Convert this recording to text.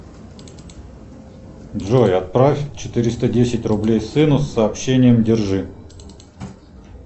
джой отправь четыреста десять рублей сыну с сообщением держи